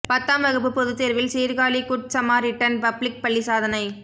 பத்தாம் வகுப்பு பொதுத்தேர்வில் சீர்காழி குட் சமாரிட்டன் பப்ளிக் பள்ளி சாதனை